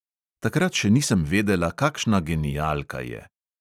Takrat še nisem vedela, kakšna genialka je!